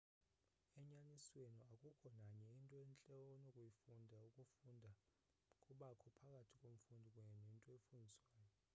enyanisweni akukho nanye into entle onokuyifunda ukufunda kubakho phakathi komfundi kunye nento efundiswayo